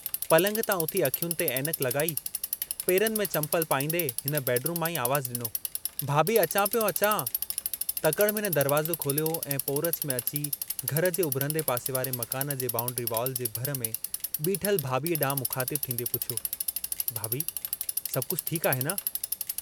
पलंग तां उथी अखियुनि ते ऐनक लगाई, पेरनि में चम्पल पाईन्दे हिन बेडरूम मां ई आवाज़ु ॾिनो, भाभी अचां पियो अचां... तकड़ि में हिन दरवाज़ो खोलियो ऐं पोरच में अची घर जे उभरंदे पासे वारे मकान जे बांउड्री वाल जे भर में बीठल भाभीअ ॾांहुं मुख़ातिबु थींदे पुछियो, भाभी सभु कुझ ठीकु आहे न?